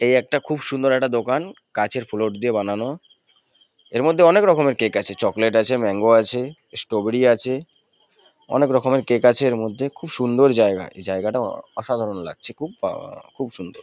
এই একটা খুব সুন্দর একটা দোকান। কাঁচের ফ্লোর দিয়ে বানানো। এর মধ্যে অনেক রকমের কেক আছে। চকলেট আছে ম্যাংগো আছে স্ট্রবেরি আছে অনেক রকমের কেক আছে এর মধ্যে। খুব সুন্দর জায়গা এই জায়গাটা অ-অ অসাধারণ লাগছে খুব আহঃ খুব সুন্দর।